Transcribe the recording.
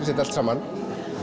þetta allt saman